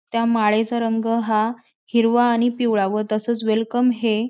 त्या माळेचा रंग हा हिरवा आणि पिवळा व तसेच वेलकम हे--